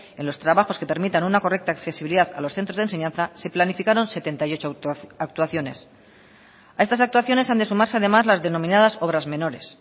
en los trabajos que permitan una correcta accesibilidad a los centros de enseñanza se planificaron setenta y ocho actuaciones a estas actuaciones han de sumarse además las denominadas obras menores